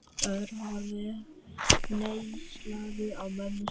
Örn horfði hneykslaður á mömmu sína.